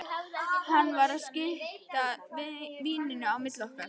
Hann var að skipta víninu á milli okkar!